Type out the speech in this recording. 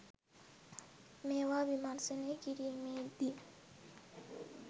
මේවා විමර්ශනය කිරිමේ දී